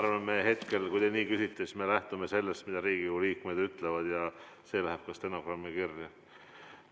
Ma arvan, me hetkel, kui te nii küsite, siis me lähtume sellest, mida Riigikogu liikmed ütlevad ja see läheb ka stenogrammi kirja.